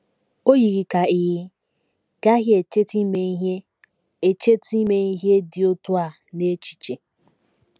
O yiri ka ị gaghị echetụ ime ihe echetụ ime ihe dị otú a n’echiche!